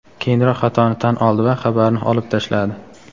keyinroq xatoni tan oldi va xabarni olib tashladi.